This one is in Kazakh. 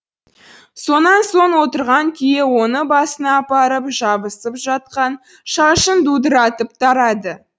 сонан соң отырған күйі оны басына апарып жабысып жатқан шашын дудыратып тарады